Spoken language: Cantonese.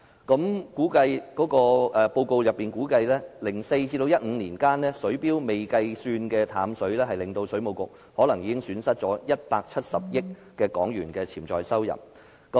據報告書估計 ，2004 年至2015年年間，因水錶未能記錄的淡水用量可能已令水務署損失了170億港元的潛在收入。